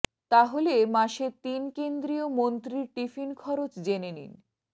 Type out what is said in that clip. তাহলে মাসে তিন কেন্দ্রীয় মন্ত্রীর টিফিন খরচ জেনে নিন